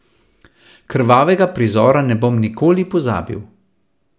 Krvavega prizora ne bom nikoli pozabil.